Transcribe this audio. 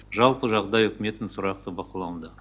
жалпы жағдай үкіметтің тұрақты бақылауында